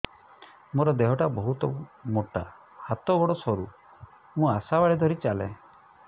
ମୋର ଦେହ ଟା ବହୁତ ମୋଟା ହାତ ଗୋଡ଼ ସରୁ ମୁ ଆଶା ବାଡ଼ି ଧରି ଚାଲେ